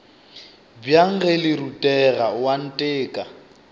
bjang ge le rutega oanteka